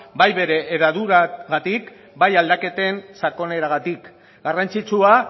bai bere hedadurarengatik bai aldaketen sakoneragatik garrantzitsua